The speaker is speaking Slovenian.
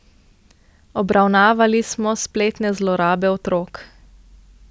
Obravnavali smo spletne zlorabe otrok.